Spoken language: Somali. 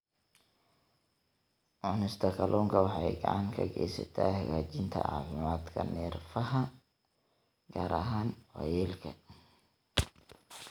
Cunista kalluunka waxay gacan ka geysataa hagaajinta caafimaadka neerfaha, gaar ahaan waayeelka.